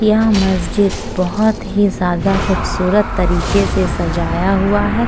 यह मस्जिद बहौत ही जादा खूबसूरत तरीके से सजाया हुआ है।